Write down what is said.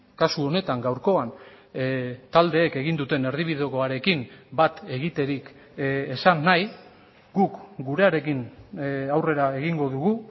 kasu honetan gaurkoan taldeek egin duten erdibidekoarekin bat egiterik esan nahi guk gurearekin aurrera egingo dugu